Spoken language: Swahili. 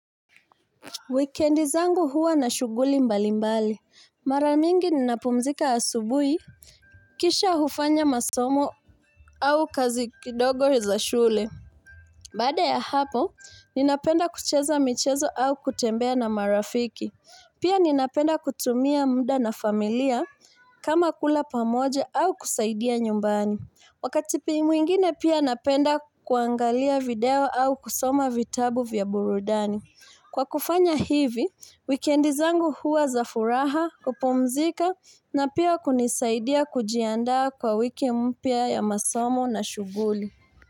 Wikendizangu huwa na shughuli mbali mbali. Mara mingi ninapumzika asubui, kisha hufanya masomo au kazi kidogo za shule. Bada ya hapo, ninapenda kucheza michezo au kutembea na marafiki. Pia ninapenda kutumia muda na familia kama kula pamoje au kusaidia nyumbani. Wakati piimu ingine pia napenda kuangalia video au kusoma vitabu vya burudani. Kwa kufanya hivi, wikendi zangu huwa za furaha kupomzika na pia kunisaidia kujianda kwa wiki mpya ya masomo na shuguli.